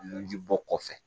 Nunji bɔ kɔfɛ